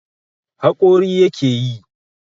Haƙori yake yi.